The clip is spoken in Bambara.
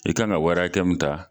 I kan ka wari hakɛ min ta